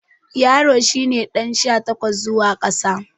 Yaro shi ne ɗan sha takwas zuwa ƙasa.